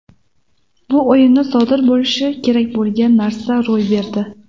Bu o‘yinda sodir bo‘lishi kerak bo‘lgan narsa ro‘y berdi.